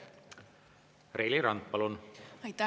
Reili Rand, palun!